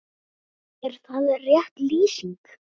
Er það rétt lýsing?